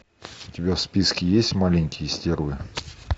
у тебя в списке есть маленькие стервы